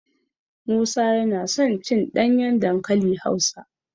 Musa yana son cin ɗanyen dankali Hausa.